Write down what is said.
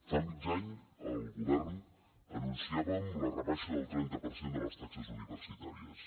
fa mig any el govern anunciàvem la rebaixa del trenta per cent de les taxes universitàries